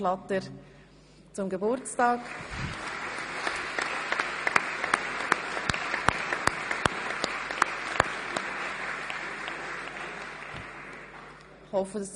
Relevante Veränderungen werden bei der Bemessung des steuerbaren Lebensaufwandes berücksichtigt.